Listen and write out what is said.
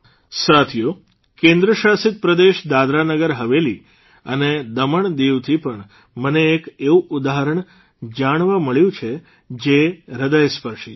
સાથીઓ કેન્દ્રશાસિત પ્રદેશ દાદરા નગર હવેલી અને દમમ દીવથી પણ મને એક એવું ઉદાહરણ જાણવા મળ્યું છે જે હૃદયસ્પર્શી છે